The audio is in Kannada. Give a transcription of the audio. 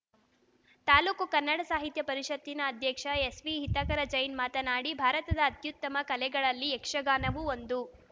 ತಾಲೂಕು ಕನ್ನಡ ಸಾಹಿತ್ಯ ಪರಿಷತ್ತಿನ ಅಧ್ಯಕ್ಷ ಎಸ್‌ವಿಹಿತಕರ ಜೈನ್‌ ಮಾತನಾಡಿ ಭಾರತದ ಅತ್ಯುತ್ತಮ ಕಲೆಗಳಲ್ಲಿ ಯಕ್ಷಗಾನವೂ ಒಂದು